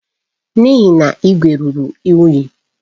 N'ihi na igwe ruru unyi.